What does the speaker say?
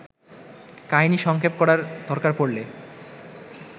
কাহিনি সংক্ষেপ করার দরকার পড়লে